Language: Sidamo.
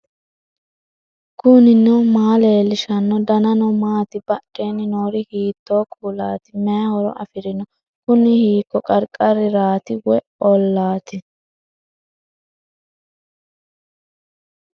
knuni maa leellishanno ? danano maati ? badheenni noori hiitto kuulaati ? mayi horo afirino ? kuni hiiko qarqaraati woy ollaati